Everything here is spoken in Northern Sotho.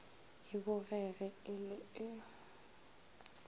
e bogege e le e